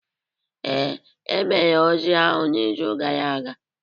Ee, e mere ozi ahụ n'izu gara aga